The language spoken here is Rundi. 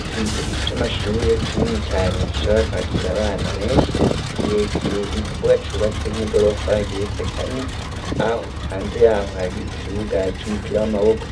Ikigo c'amashurure kinini cane gishobora kwakira abana beshi kirekire nukuvuga cubatse nk'igorofa igiretse kane aho hanze yaho hari ikibuga c' umupira w'amaboko